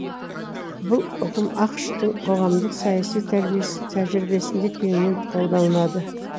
бұл ұғым ақш тың қоғамдық саяси тәжірибесінде кеңінен қолданылады